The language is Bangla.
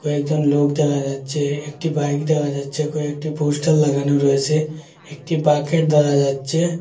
একজন লোক দেখা যাচ্ছে একটি বাইক দেখা যাচ্ছে কয়েকটি পোস্টার লাগানো রয়েছে একটি বাকেট ধরা যাচ্ছে।